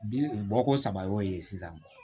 Bi bɔ ko saba y'o ye sisan